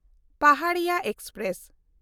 Paharia express